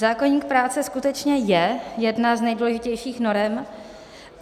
Zákoník práce skutečně je jedna z nejdůležitějších norem.